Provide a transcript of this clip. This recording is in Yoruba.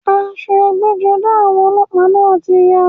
Aṣọ ẹgbẹ́-jọdá ọlọ́pàá náà ti ya.